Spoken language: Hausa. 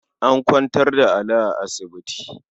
An kwantar da Ali a asibiti.